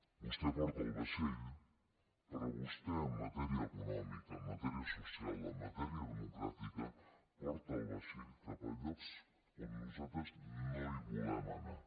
vostè porta el vaixell però vostè en matèria econòmica en matèria social en matèria democràtica porta el vaixell cap a llocs on nosaltres no volem anar